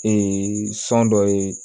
sɔn dɔ ye